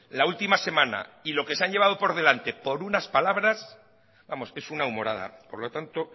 la última semana y lo que se han llevado por delante por unas palabras vamos es una humorada por lo tanto